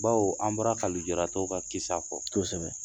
Baw, an bɔra ka nujara tɔw ka kisa kosɛbɛ